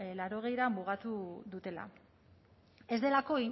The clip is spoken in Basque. laurogeira mugatu dutela